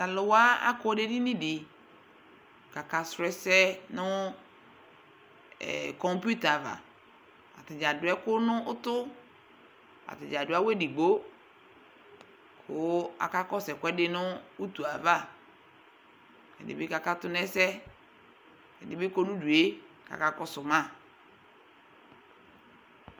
Taluwa akɔ nu edini di kakasu ɛsɛ nu kɔpuita ava atadza adu ɛku nu utu atani adu awu edigbo ku akakɔsu ɛkuɛdi nu utu yɛ ava ɛdini bi kakatu nu ɛsɛ ɛdini kɔ nu udʋ kakɔsuma